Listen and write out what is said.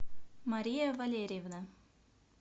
мария валерьевна